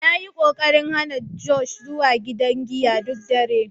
Na yi ƙoƙarin hana Josh zuwa gidan giya duk dare.